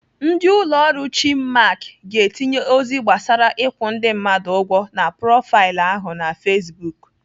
Ndị ụlọ ọrụ Chinmark ga-etinye ozi gbasara ịkwụ ndị mmadụ ụgwọ na profaịlụ ahụ na Facebook.